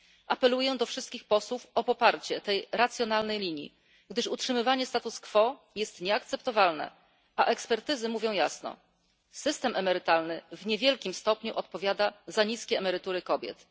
Apeluję do wszystkich posłów o poparcie tej racjonalnej linii, gdyż utrzymywanie status quo jest nieakceptowalne, a ekspertyzy mówią jasno system emerytalny w niewielkim stopniu odpowiada za niskie emerytury kobiet.